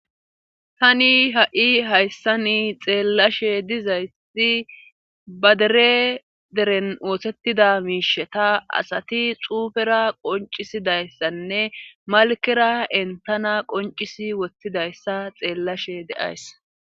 Tani ha'i hayssa ni xeellashe dizaysi badere deren oosettida miishe ta asati xuufera qoncisidayssanne malkera entana qoncisi wottidayssa xeellashe deays.